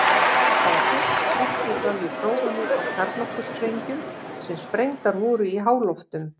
Það var fyrst uppgötvað við prófanir á kjarnorkusprengjum sem sprengdar voru í háloftum.